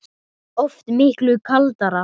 Oft miklu kaldara